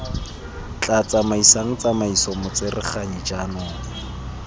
tla tsamaisang tsamaiso motsereganyi jaanong